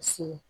Se